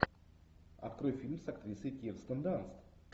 открой фильм с актрисой кирстен данст